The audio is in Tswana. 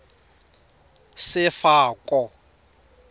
sefako